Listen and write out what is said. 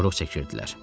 Korluq çəkirdilər.